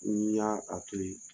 I y'a a toyi.